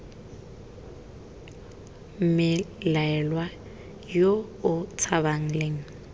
mmelaelwa yo o tshabang leng